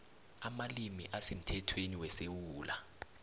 amalimi asemthethweni wesewula